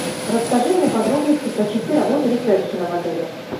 расскажи мне подробности про часы работы ресепшена в отеле